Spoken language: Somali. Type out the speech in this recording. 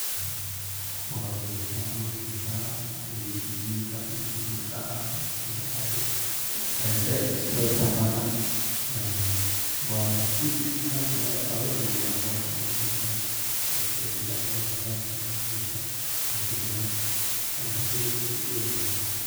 Wa wangsantahay callosha ayu jarah xeli jimka qadeth, aya saait lo isticmalah wa bisin ahaan caloshÃ ayukagaraha Ani ahantay qebradey sethasi wayi.